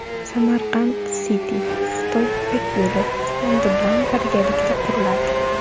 Samarkand City Xitoy Ipak yo‘li fondi bilan birgalikda quriladi.